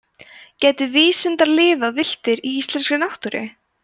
gætu vísundar lifað villtir í íslenskri náttúru